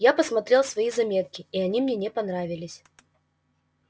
я посмотрел свои заметки и они мне не понравились